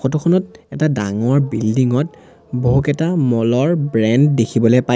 photo খনত এটা ডাঙৰ বিল্ডিং ত বহুকেইটা মলৰ ব্ৰেণ্ড দেখিবলৈ পাই--